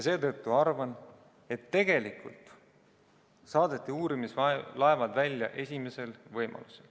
Seetõttu arvan, et tegelikult saadeti uurimislaevad välja esimesel võimalusel.